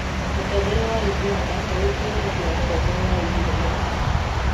Mũtongoria wa ũganda ũĩkaine nĩ ũndũ wa ũtongoria wa ihinda iraya.